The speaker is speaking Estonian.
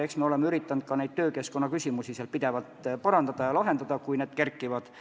Eks me oleme üritanud töökeskkonda pidevalt parandada ja neid küsimusi lahendada, kui need kerkivad.